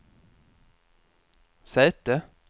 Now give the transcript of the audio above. säte